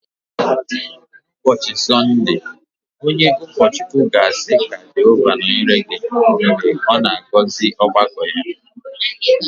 N’ụbọchị Sọnde, onye ụkọchukwu ga-asị “Ka Jehova nọnyere gị” Mgbe ọ na-agọzi ọgbakọ ya